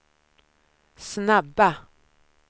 snabba